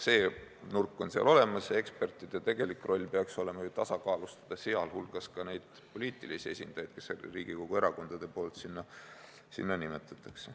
See nurk on seal juba olemas ja ekspertide tegelik roll peaks olema ju tasakaalustada neid poliitilisi esindajaid, kelle Riigikogu erakonnad sinna nimetavad.